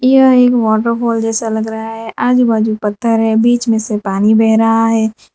यह एक waterfall जैसा लग रहा है आजू बाजू पत्थर है बीच में से पानी बह रहा है।